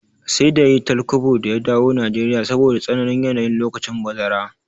Sai da yayi tal kwabo da ya dawo Nigeria saboda tsananin yanayi lokacin bazara